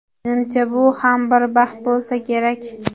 Menimcha, bu ham bir baxt bo‘lsa kerak.